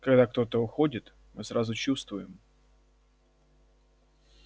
когда кто-то уходит мы сразу чувствуем